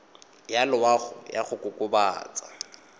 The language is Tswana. ya loago ya go kokobatsa